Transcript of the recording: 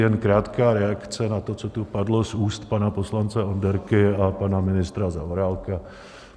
Jen krátká reakce na to, co tu padlo z úst pana poslance Onderky a pana ministra Zaorálka.